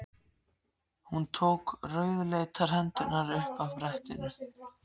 Hún tók rauðleitar hendurnar upp af brettinu.